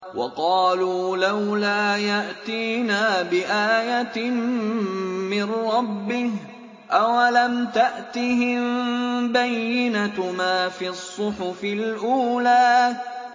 وَقَالُوا لَوْلَا يَأْتِينَا بِآيَةٍ مِّن رَّبِّهِ ۚ أَوَلَمْ تَأْتِهِم بَيِّنَةُ مَا فِي الصُّحُفِ الْأُولَىٰ